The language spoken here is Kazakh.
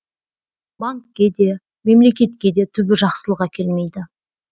банкке де мемлекетке де түбі жақсылық әкелмейді